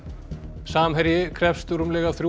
samherji krefst rúmlega þrjú